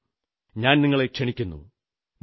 ഞാൻ നിങ്ങളെ ക്ഷണിക്കുന്നു വരൂ